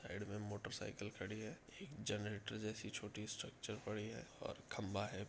Side में motorcycle खड़ी है। एक जनरेटर जैसी छोटी स्ट्रेक्चर पड़ी है और खंभा है।